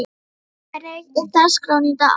Eyfi, hvernig er dagskráin í dag?